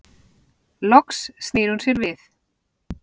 Loks snýr hún sér við.